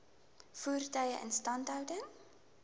voertuie instandhouding